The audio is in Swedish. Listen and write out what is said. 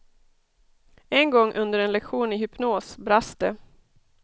En gång under en lektion i hypnos brast det.